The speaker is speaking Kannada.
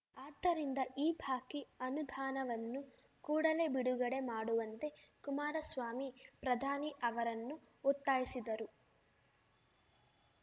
ಆದ್ದರಿಂದ ಈ ಬಾಕಿ ಅನುದಾನವನ್ನು ಕೂಡಲೇ ಬಿಡುಗಡೆ ಮಾಡುವಂತೆ ಕುಮಾರಸ್ವಾಮಿ ಪ್ರಧಾನಿ ಅವರನ್ನು ಒತ್ತಾಯಿಸಿದರು